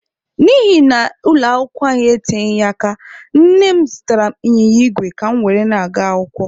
N'ihi na ụlọ akwụkwọ anyị eteghị aka, nne m zụtara ịnyịnya igwe ka mụ were na-aga akwụkwọ.